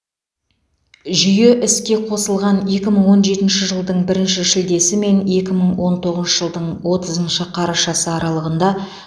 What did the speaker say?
жүйе іске қосылған екі мың он жетінші жылдың бірінші шілдесі мен екі мың он тоғызыншы жылдың отызыншы қарашасы аралығында